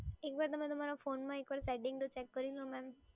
એકવાર તમે તમારા ફોનમાં એકવાર સેટિંગ તો ચેક કરી લો મેડમ.